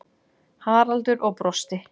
Haraldur og brosti.